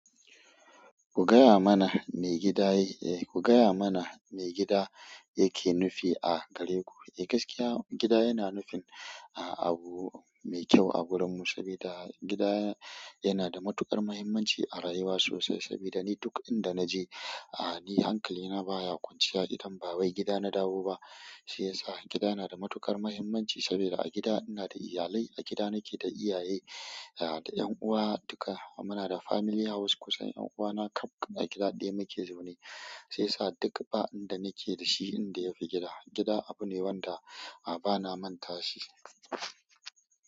Ku gayamana me gida yake nufi a gareku. Eh gaskiya gida yana nufin abu mai kyau a gurinmu saboda gida yanada matuƙar muhimmanci a rayuwa sosai. Saboda ni duk inda naje, ni hankalina baya kwanciya idan ba wai gida nadawo ba. Shiyasa gida yana da matuƙar muhimmanci saboda a gida inada iyalai, a gida nake da iyaye da ƴan'uwa duka. Munada family house kusan ƴanuwana kaf a gida ɗaya muke zaune. Shiyasa duk ba inda nake dashi inda yafi gida. Gida abune wanda a bana mantashi.